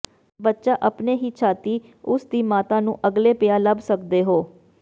ਬੱਚਾ ਆਪਣੇ ਹੀ ਛਾਤੀ ਉਸ ਦੀ ਮਾਤਾ ਨੂੰ ਅਗਲੇ ਪਿਆ ਲੱਭ ਸਕਦੇ ਹੋ